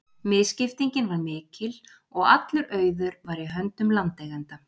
Misskiptingin var mikil og allur auður var í höndum landeigenda.